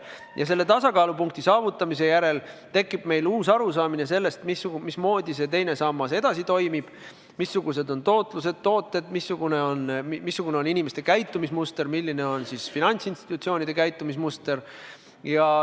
Ja selle tasakaalupunkti saavutamise järel tekib meil uus arusaamine, mismoodi teine sammas edasi toimib, missugused on tootlused ja tooted, missugune on inimeste käitumismuster, milline on finantsinstitutsioonide käitumismuster.